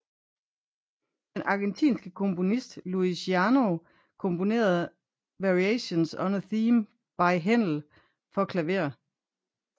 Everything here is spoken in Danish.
Den argentinske komponist Luis Gianneo komponerede Variations on a Theme by Handel for klaver